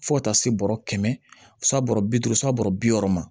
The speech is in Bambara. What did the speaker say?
Fo ka taa se bɔrɔ kɛmɛ saba bi duuru san bɔrɔ bi wɔɔrɔ ma